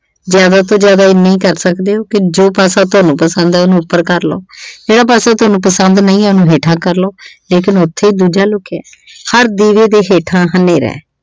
ਜਿਆਦਾ ਤੋਂ ਜਿਆਦਾ ਇਹਨਾਂ ਹੀ ਕਰ ਸਕਦੇ ਹੋ ਕਿ ਜੋ ਪਾਸਾ ਤੁਹਾਨੂੰ ਪਸੰਦ ਆ ਉਹਨੂੰ ਉੱਪਰ ਕਰ ਲਉ ਜਿਹੜਾ ਪਾਸਾ ਤੁਹਾਨੂੰ ਪਸੰਦ ਨਹੀਂ ਆ ਉਸ ਨੂੰ ਹੇਠਾਂ ਕਰ ਲਉ ਲੇਕਨ ਉਥੇ ਈ ਦੂਜਾ ਲੁਕਿਐ। ਹਰ ਦੀਵੇਂ ਦੇ ਹੇਠਾਂ ਹਨੇਰਾ ਆ।